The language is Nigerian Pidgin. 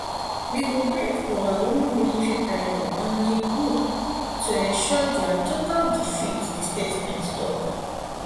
we go bring overwhelming military pressure on di group um group um to ensure dia total defeat di statement tok